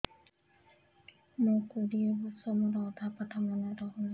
ମୋ କୋଡ଼ିଏ ବର୍ଷ ମୋର ଅଧା ପାଠ ମନେ ରହୁନାହିଁ